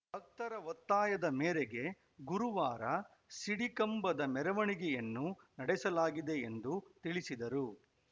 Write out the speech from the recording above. ಭಕ್ತರ ಒತ್ತಾಯದ ಮೇರೆಗೆ ಗುರುವಾರ ಸಿಡಿ ಕಂಬದ ಮೆರವಣಿಗೆಯನ್ನು ನಡೆಸಲಾಗಿದೆ ಎಂದು ತಿಳಿಸಿದರು